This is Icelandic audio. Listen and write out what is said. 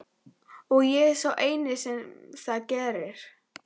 Og ég er sá eini sem það gerir.